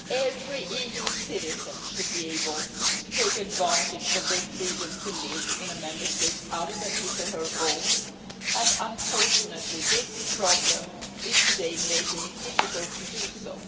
Every EU citizen should be able to take advantage of their freedom to live in a Member State other than his or her own, and unfortunately this problem is today making it difficult to do so.